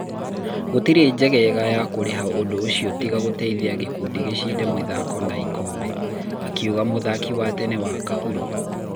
Gũtirĩ njira njegega ya kũriha ũndũ ũcio tiga kũteithia gikundi gĩcinde mĩthako na ikombe,'akiuga muthaki wa tene wa Kahuro.